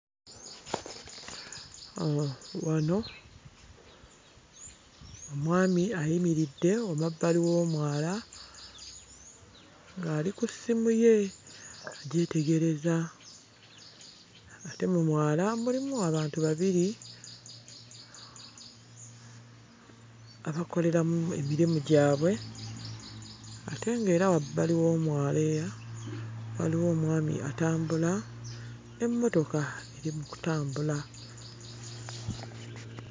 Wano omwami ayimiridde emabbali w'omwala ng'ali ku ssimu ye agyetegereza ate mu mwala mulimu abantu babiri abakoleramu emirimu gyabwe ate ng'era wabbali w'omwala era waliwo omwami atambula, n'emmotoka eri mu kutambula.